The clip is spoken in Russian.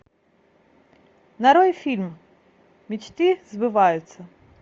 нарой фильм мечты сбываются